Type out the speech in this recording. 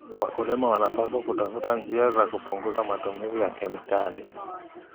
Wakulima wanapaswa kutafuta njia za kupunguza matumizi ya kemikali.